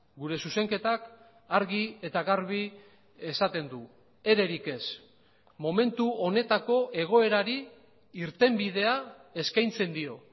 gure zuzenketak argi eta garbi esaten du ererik ez momentu honetako egoerari irtenbidea eskaintzen dio